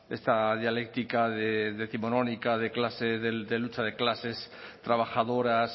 esta dialéctica décimonónica de clases de lucha de clases trabajadoras